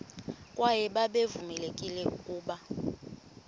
kwaye babevamelekile ukuba